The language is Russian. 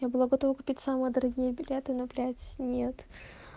я была готова купить самые дорогие билеты но блять нет